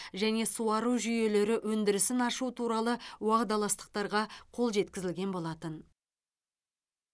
және суару жүйелері өндірісін ашу туралы уағдаластықтарға қол жеткізілген болатын